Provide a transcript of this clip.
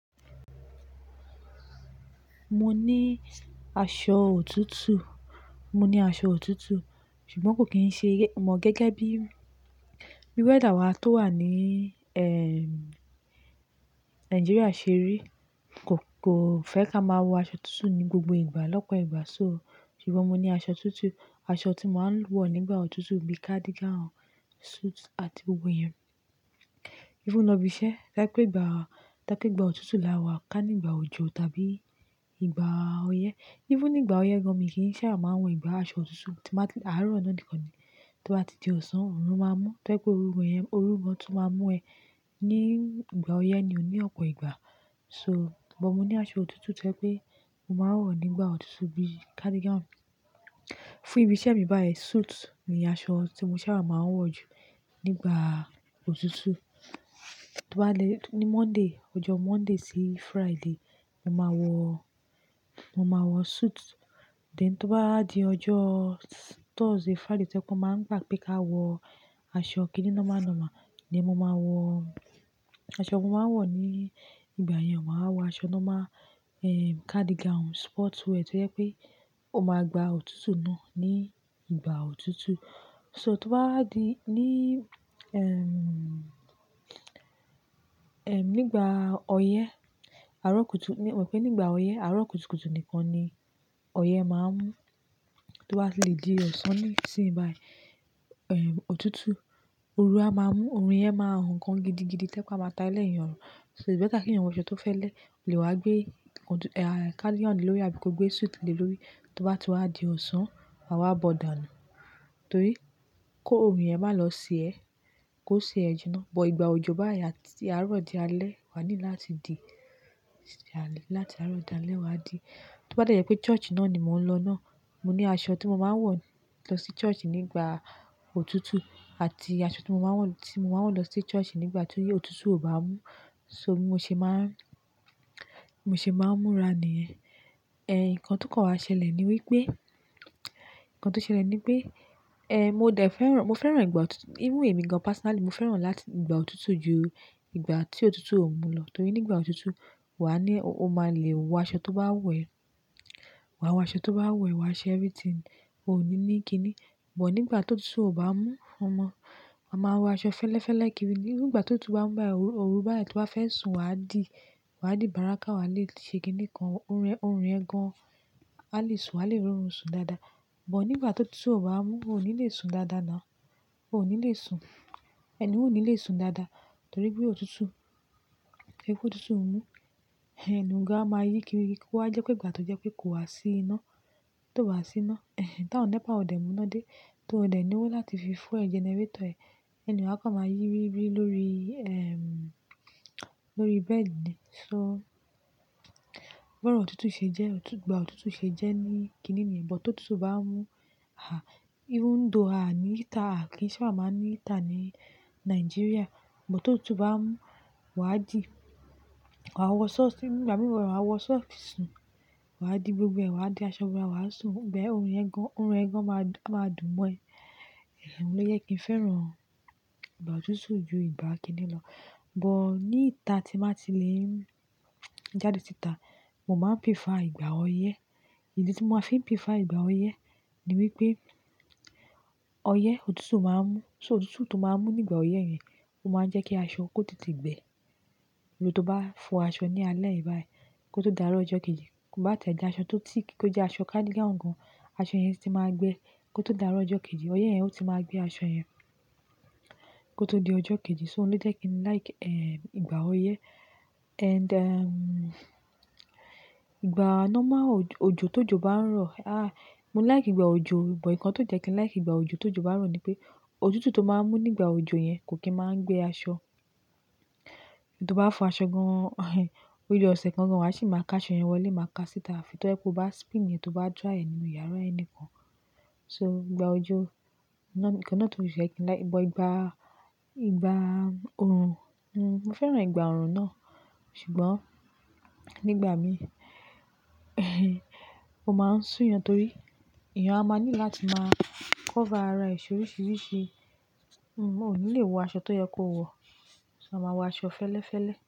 Mo ní aṣọ òtútù. Mo ní aṣọ òtútù, ṣùgbọ́n kò kí n ṣe mọ gẹ́gẹ́ bí wéẹ̀dà wá tó wà ní, ẹ́ẹ̀, Nàìjíríà ṣe rí. Kò, kò fẹ́ ká máa wọ aṣọ tuntun ní gbogbo ìgbà lọ́pọ̀ ìgbà. So ṣùgbọ́n mo ní aṣọ tuntun, aṣọ tí máa ń wọ̀ nígbà òtútù bí i cardigan, suit àti gbogbo yẹn. Ífúnú bí iṣẹ́, káìpẹ́ ìgbà, káìpẹ́ ìgbà òtútù là wá ká nígbà òjò tàbí ìgbà ọyẹ́. Ífúnú nígbà ọyẹ́ gan mí kì í sáábà máa wọ̀n ìgbà aṣọ òtútù tí máa ti, àárọ̀ ọ̀nà dikan ni. Tí wá ti di ọ̀sán, òòrùn máa mú. Tẹ́ pé òòrùn yẹn, òòrùn gan tún máa mú ẹ ní ìgbà ọyẹ́ ni òní ọ̀pọ̀ ìgbà. So bọ̀ mo ní aṣọ òtútù tẹ́ pé mo máa ń wọ̀ nígbà òtútù bí i cardigan. Fún ibi iṣẹ́ mi báyìí suit ni aṣọ tí mo sáábà máa ń wọ̀ jù nígbà òtútù. Tó bá le ní Monday, ọjọ́ Monday sí Friday, mo máa wọ, mo máa wọ suit. Then to bá di ọjọ́ Thursday, Friday tẹ́ pẹ won máa ń gbà pé ká wọ aṣọ kìní nọ́mà nọ́mà ni mo máa wọ. Aṣọ mo máa ń wọ̀ ní ìgbà yẹn, màá wọ aṣọ nọ́mà, ẹ́ẹ̀, cardigan, sportswear tí ó jẹ́ pé ó máa gba òtútù náà ní ìgbà òtútù. So to ba wá di ní, ẹ́ẹ̀, ẹ́ẹ̀, nígbà ọyẹ́, àárọ̀ kútu-- ní mọ̀ pé nígbà ọyẹ́, àárọ̀ kútu kútu nìkan ni ọyẹ́ máa ń mú. To bá lè di ọ̀sán ní ìsìn báyìí, ẹ́ẹ̀, òtútù, òru a máa mú, orun yẹn máa hùn gan gidigidi. Tẹ́ pé a máa ta e lẹ̀ yin orun. So ì be tẹ́ ká kí ẹ̀yàn wọ aṣọ tó fẹ́lẹ́, lè wá gbé ọ̀tútù, ẹ́ẹ̀, cardigan lórí ẹ bíi ko gbé suit lórí ẹ. Tí wá tú a di ọ̀sán, a wá bọ̀ dànù. Torí kó orun yẹn má lọ se ẹ, kó se ẹ jinná. Bọ̀ ìgbà òjò báyìí, ati àárọ̀ di alẹ́, wá ní láti di, láti àárọ̀ di alẹ́ wá di. Tí wá dẹ̀ yẹ pé church náà ni mò ń lọ náà, mo ní aṣọ tí mo máa ń wọ̀ lọ sí church nígbà òtútù àti aṣọ tí mo máa ń wọ̀, tí mo máa ń wọ̀ lọ sí church nígbà tí ó yẹ òtútù ò bá mú. So mo ṣe máa, mo ṣe máa múra ní ẹ̀. Ẹ̀, ǹkan tó kàn wá ṣẹlẹ̀ ni wípé, ǹkan tó ṣẹlẹ̀ ni wípé, ẹ́ẹ̀, mo dẹ̀ fẹ́ràn, mo fẹ́ràn ìgbà òtútù. Ífúnú èmi gan personally, mo fẹ́ràn láti ìgbà òtútù ju ìgbà tí òtútù ò mú lọ. Torí nígbà òtútù, wá ní, o máa le wọ aṣọ tó bá wẹ̀, wá wọ aṣọ tó bá wẹ̀, wá se everything. O ò ní ní kíni. Bọ̀ nígbà tó òtútù ò bá mú, ọmọ, a máa wọ aṣọ fẹ́lẹ́fẹ́lè kíri. Ní ìgbà tó òtútù bá ń mu báyi, òru bá yi tí o bá fẹ́ sùn wá di, wá di bárákà wá lè ṣe kíni kan. Orun ẹ́, orun ẹ́ gan, wá lè sùn, wá lè r'orun sùn dáadáa. Bọ̀ nígbà tó òtútù ò bá mú, o ò ní le sùn dáadáa ná. O ò ní le sùn, ẹ̀ni ohun ò ní le sùn dáadáa. Torí pé òtútù, ẹ kú òtútù ò mú, ẹ̀, inú igá máa yí kiri kíi kó wá jẹ́ pé ìgbà tó jẹ pé kò wá sí iná, tio bá sí iná, ẹ̀hen, t'awon nẹ́pà ò bá mú iná dé. Tí o dẹ̀ lowó láti fi fú ẹ generator ẹ, ẹni ohun à kán máa yí kírí lórí, ẹ́ẹ̀, lórí bẹ́ẹ̀dì ni. So bọ̀rò òtútù ṣe jẹ́, òtútù, ìgbà òtútù ṣe jẹ́ ní kíni ni. Bọ̀ tó òtútù bá ń mú, à, ífúnú dòó a ní ìta, à kì í sáárà máa ní ìta ní Nàìjíríà. Bọ̀ tó òtútù bá ń mú, wá di, wá wọ sọ́ọ̀sì, ìgbà bí wá wọ sọ́ọ̀sì sùn, wá di gbogbo ẹ̀, wá di aṣọ bora wá sùn. Bẹ́ẹ̀ òòrùn ẹ́ gan, òòrùn ẹ́ gan máa dùn mọ́ ẹ. Ẹ̀hen, ó lé ye kí n fẹ́ràn ìgbà òtútù ju ìgbà kíni lọ. Bọ̀ ní ìta tí màá ti lè jáde sí ìta, mo máa prefer ìgbà ọyẹ́. Ìdí tí mo máa fi prefer ìgbà ọyẹ́ ni wípé ọyẹ́ òtútù máa ń mú. So òtútù tó máa ń mú nígbà ọyẹ́ yẹn, ó máa ń jẹ́ kí aṣọ kó tètè gbẹ. Olè tó bá fọ aṣọ ní alẹ́ báyìí kó tó dàárọ̀ ọjọ́ kejì, bá tẹ́ ẹ di aṣọ tó tìkì, kó jẹ́ aṣọ cardigan gan, aṣọ yẹn sì ti máa gbẹ kó tó dàárọ̀ ọjọ́ kejì. Ọyẹ́ yẹn ó ti máa gbé aṣọ yẹn kó tó di ọjọ́ kejì. So ó lé ye kí n like, ẹ́ẹ̀, ìgbà ọyẹ́. And, ẹ́ẹ̀, ìgbà nọ́mà, òjò tó jò bá ń rọ̀, a, mo like ìgbà òjò. Bọ̀ ǹkan tó jẹ́ kí n like ìgbà òjò tó jò bá rọ̀ ni pé òtútù tó máa ń mú nígbà òjò yẹn kò kí ń máa ń gbé aṣọ. Tí o bá fọ aṣọ gan, ẹ̀hen, ojó ọ̀sẹ̀ kan gan wá sì máa ká aṣọ yẹn wọlé, máa ká síta. Tí tẹ́ ẹ pé o bá spin yẹn, tí o bá dry ẹ nínu yàrá ẹnikán. So ìgbà òjò nọ́, ǹkan náà tò jẹ́ kí n like. Bọ̀ ìgbà, ìgbà orun, n, mo fẹ́ràn ìgbà orun náà. Ṣùgbọ́n nígbà mi, ẹ̀hen, o máa ń sún iyan torí iyan a máa ní láti máa cover ara èṣò oríṣiríṣi. N, o ò ní le wọ aṣọ tó yẹ kó wọ̀. So a máa wọ aṣọ fẹ́lẹ́fẹ́lẹ́.